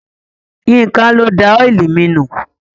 Yínká ló da ọ́ìlì mi nù.